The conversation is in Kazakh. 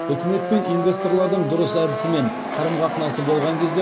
үкімет пен инвесторлардың дұрыс әдісі мен қарым қатынасы болған кезде